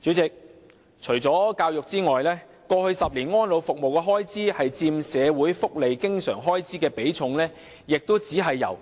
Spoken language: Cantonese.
主席，除教育外，安老服務開支佔社會福利經常開支的比重在過去10年亦只是由